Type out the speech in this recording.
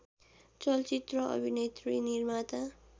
चलचित्र अभिनेत्री निर्माता